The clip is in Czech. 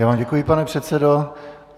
Já vám děkuji, pane předsedo.